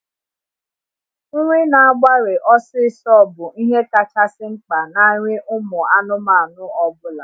Nri n'agbari ọsisọ bụ ihe kachasị mkpa na nri ụmụ anụmanụ ọbụla